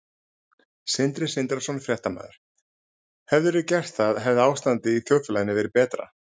Sindri Sindrason, fréttamaður: Hefðirðu gert það hefði ástandið í þjóðfélaginu verið betra?